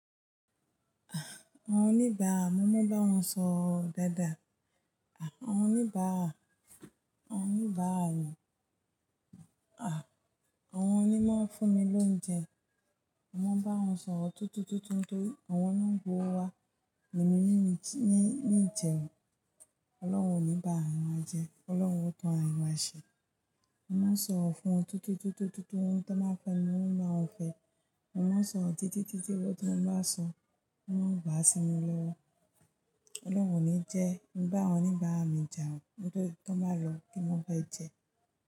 Àwọn oníbàá, mo mọ bí wọ́n sọ̀rọ̀ dáadáa. Àwọn oníbàá, àwọn oníbàá yẹn, àwọn oníbàá fún mi lóúnjẹ. Mo mọ bí wọ́n sọ̀rọ̀ tútù tútù tún tó, àwọn náà ń gbọ́ wa nínú níní ìjẹun. Ọlọ́run oníbàá, àwọn a jẹ, Ọlọ́run ó tan a rìn wá ṣe. Mo máa sọ̀rọ̀ fún wọn tútù tútù tútù tútù tún tó máa fẹ́ mi, wọ́n máa fẹ́ ẹ. Mo máa sọ̀rọ̀ títí títí títí wọ́n tó máa sọ, wọ́n ó gbà á sí mi lọ́wọ́. Ọlọ́run oníjẹ, mo gba àwọn oníbàá mi jà, níbo tí wọ́n bá lọ kí mo fẹ́ jẹ.